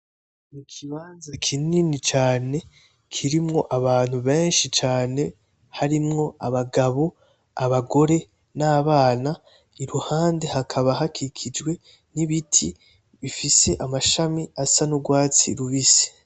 N'ikibanza kinini cane kirimwo abantu benshi cane hakaba harimwo abagabo, abagore, nabana. Iruhande hakaba hakikijwe n'ibiti bifise amashami akaba asa nurwatsi rubisi.